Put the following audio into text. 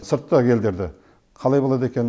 сырттағы елдер де қалай болады екен